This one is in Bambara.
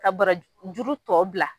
Ka bara juru tɔ bila.